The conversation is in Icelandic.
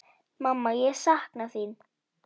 Mamma, ég sakna þín.